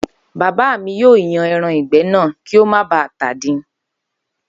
Bábá mi yóò yan e̩ran ìgbé̩ náà kí ó má ba à tàdin